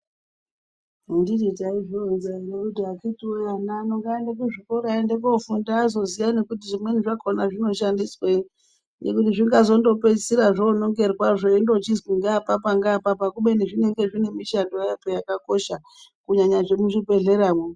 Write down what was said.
Anditi taizvironza nekuti akhiti wee ana ano ngaaende kuzvikora aende kofunda azoziya nekuti zvimweni zvakhona zvinoshandiswei ngekuti zvingangopedzisira zvonongerwa zveindochizwi ngaapapa ngaapapa kubeni zvinenge zvinemishando yazvo yakakosha kunyanya zvemuzvibhedhleramo.